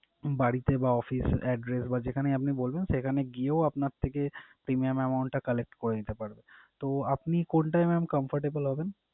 বাড়িতে বা office address বা যেখানেই আপনি বলবেন সেখানে গিয়েও আপনার থেকে premium amount টা collect করে নিতে পারবে। তো আপনি কোনটায় mam comfortable হবেন?